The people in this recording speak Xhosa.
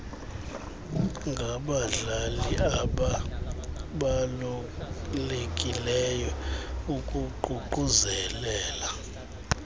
ngabadlali ababalulekileyo ukuququzelela